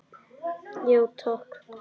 Já takk.